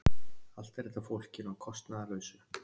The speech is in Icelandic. Allt er þetta fólkinu að kostnaðarlausu